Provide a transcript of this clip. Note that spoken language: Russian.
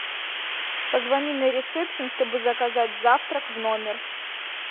позвони на ресепшен чтобы заказать завтрак в номер